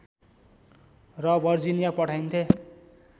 र वर्जिनिया पठाइन्थे